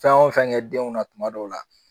Fɛn o fɛn kɛ denw na kuma dɔw la